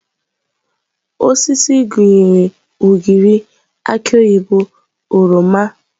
Osisi osisi gụnyere ugịrị, aki oyibo, oroma wdg.